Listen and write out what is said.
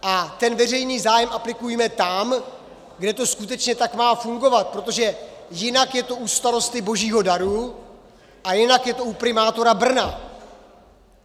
A ten veřejný zájem aplikujme tam, kde to skutečně tak má fungovat, protože jinak je to u starosty Božího daru a jinak je to u primátora Brna.